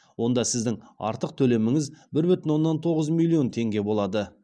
онда сіздің артық төлеміңіз бір бүтін оннан тоғыз миллион теңге болады